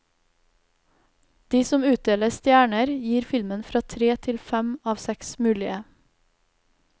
De som utdeler stjerner, gir filmen fra tre til fem av seks mulige.